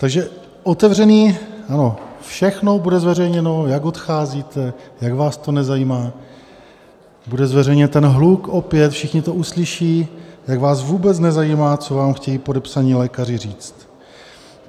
Takže otevřený... ano, všechno bude zveřejněno, jak odcházíte, jak vás to nezajímá, bude zveřejněn ten hluk opět, všichni to uslyší, jak vás vůbec nezajímá, co vám chtějí podepsaní lékaři říct.